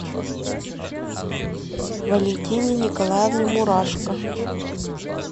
валентине николаевне мурашко